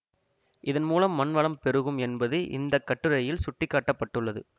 இதன்மூலம் மண்வளம் பெருகும் என்பது இந்தக்கட்டுரையில் சுட்டிக்காட்டப்பட்டுள்ளது